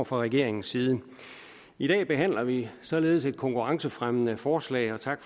fra regeringens side i dag behandler vi således et konkurrencefremmende forslag og tak